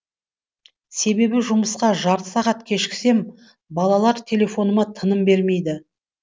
себебі жұмысқа жарты сағат кешіксем балалар телефоныма тыным бермейді